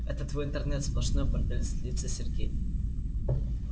это твой интернет сплошной бордель злится сергей